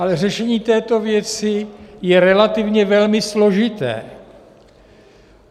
Ale řešení této věci je relativně velmi složité.